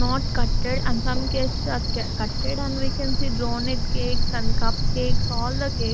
not cutted and some cases are cutted and we can see donut cakes and cup cakes all the cakes.